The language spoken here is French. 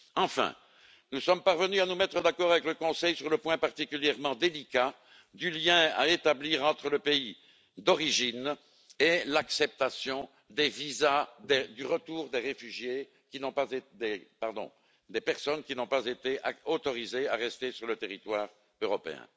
Enfin, nous sommes parvenus à nous mettre d'accord avec le Conseil sur le point particulièrement délicat du lien à établir entre le pays d'origine et l'acceptation des visas de retour des personnes qui n'ont pas été autorisées à rester sur le territoire européen.